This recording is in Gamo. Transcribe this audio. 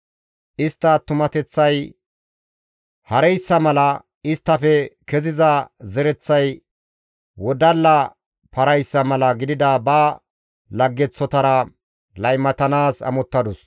Istta attumateththay hareyssa mala, isttafe keziza zereththay wodalla parayssa mala gidida ba laggeththotara laymatanaas amottadus.